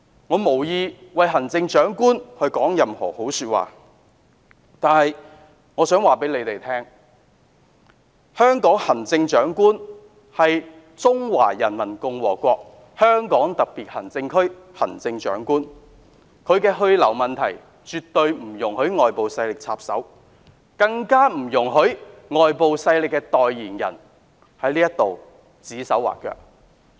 我無意為行政長官說任何好話，但我想告訴這些議員，香港行政長官是中華人民共和國香港特別行政區行政長官，她的去留問題，絕不容許外部勢力插手，更不容許外部勢力的代言人在此指手畫腳。